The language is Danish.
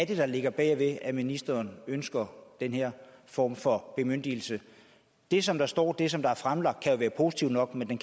er der ligger bag at ministeren ønsker den her form for bemyndigelse det som der står og det som er fremlagt kan være positivt nok men